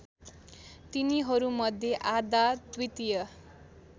तिनीहरूमध्ये आधा द्वितीय